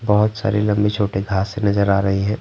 बहुत सारे लंबे-छोटे घास नजर आ रही हैं।